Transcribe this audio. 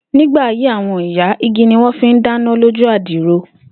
Nígbà ayé àwo̩n ìyá, igi ni wó̩n fi ń dáná lójú àdìrò